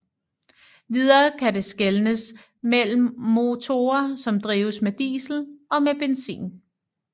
Videre kan det skelnes mellem motorer som drives med diesel og med benzin